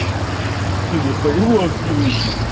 судя по его активности